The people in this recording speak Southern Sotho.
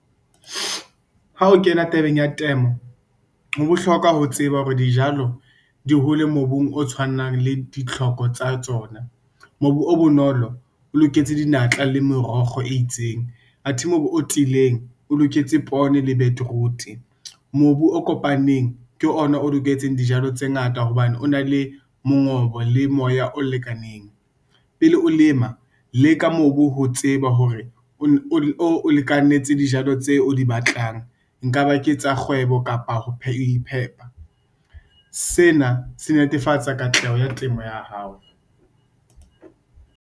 Ha o kena tabeng ya temo, ho bohlokwa ho tseba hore dijalo di hole mobung o tshwanang le ditlhoko tsa tsona. Mobu o bonolo o loketse dinatla le merokgo e itseng, athe mobu o tiileng, o loketse poone le beetroot. Mobu o kopaneng ke ona o loketseng dijalo tse ngata hobane o na le mongobo le moya o lekaneng, pele o lema le ka mobu ho tseba hore o lekanetse dijalo tseo o di batlang. Nka ba ke tsa kgwebo kapa ho ipheha sena se netefatsa katleho ya temo ya hao.